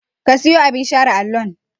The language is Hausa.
Ka siyo abin share allon?